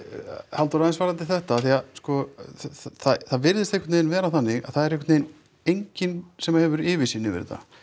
Halldór aðeins varðandi þetta af því að sko það virðist einhvern veginn vera þannig að það er einhvern veginn enginn sem hefur yfirsýn yfir þetta